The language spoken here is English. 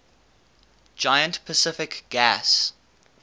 giant pacific gas